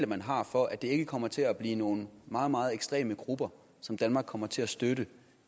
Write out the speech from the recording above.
man har for at det ikke kommer til at blive nogle meget meget ekstreme grupper som danmark kommer til at støtte